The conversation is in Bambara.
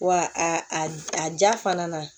Wa a a ja fana na